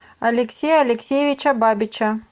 алексея алексеевича бабича